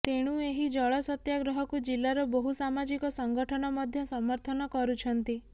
ତେଣୁ ଏହି ଜଳ ସତ୍ୟାଗ୍ରହକୁ ଜିଲ୍ଲାର ବହୁ ସାମାଜିକ ସଂଗଠନ ମଧ୍ୟ ସମର୍ଥନ କରୁଛନ୍ତି